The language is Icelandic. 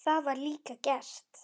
Það var líka gert.